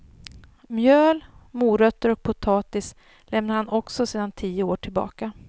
Mjöl, morötter och potatis lämnar han också sedan tio år tillbaka.